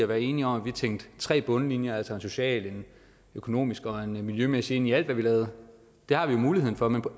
være enige om at vi tænkte tre bundlinjer altså en social en økonomisk og en miljømæssig ind i alt hvad vi lavede det har vi jo muligheden for men